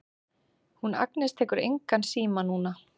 Hún Agnes tekur engan síma núna.